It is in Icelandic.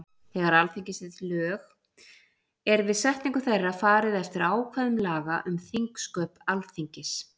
Þegar Alþingi setur lög er við setningu þeirra farið eftir ákvæðum laga um þingsköp Alþingis.